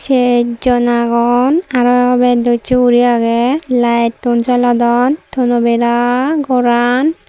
sechjon agon aro bat docche guri agey layettun jolodon tono bera goran.